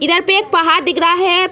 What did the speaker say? इधर पे एक पहाड़ दिख रहा है।